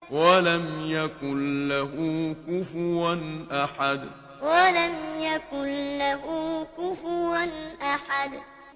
وَلَمْ يَكُن لَّهُ كُفُوًا أَحَدٌ وَلَمْ يَكُن لَّهُ كُفُوًا أَحَدٌ